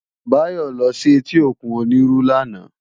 Bayo lò si éti ókún Oniru làná